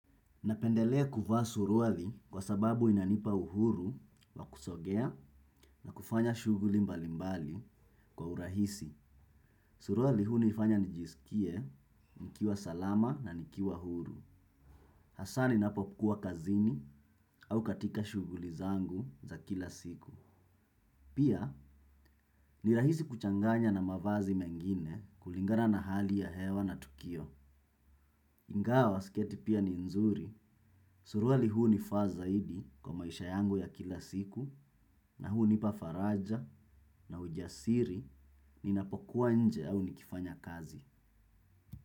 Napendelea kuvaa suruali kwa sababu inanipa uhuru wa kusogea na kufanya shughuli mbalimbali kwa urahisi. Suruali hunifanya nijisikie, nikiwa salama na nikiwa huru. Hasaa ninapo kuwa kazini au katika shughuli zangu za kila siku. Pia, ni rahisi kuchanganya na mavazi mengine kulingana na hali ya hewa na tukio. Ingawa siketi pia ni nzuri, suruali hunifaa zaidi kwa maisha yangu ya kila siku na hunipa faraja na ujasiri ninapokuwa nje au nikifanya kazi.